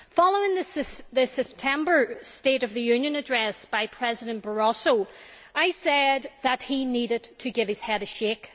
Following the September State of the Union address by President Barroso, I said that he needed to give his head a shake.